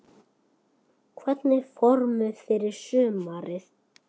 Hvernig er formið fyrir sumarið?